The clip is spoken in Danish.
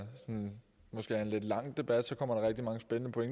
en måske lidt lang debat kommer